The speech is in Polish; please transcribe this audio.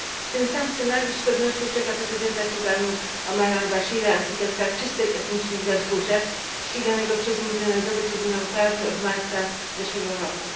Ten sam scenariusz z pewnością czeka prezydenta Sudanu Omara al Bashira, architekta czystek etnicznych w Darfurze, ściganego przez Międzynarodowy Trybunał Karny od marca zeszłego roku.